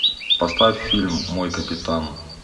поставь фильм мой капитан